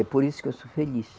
É por isso que eu sou feliz.